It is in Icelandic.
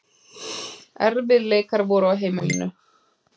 Erfiðleikar voru á heimilinu.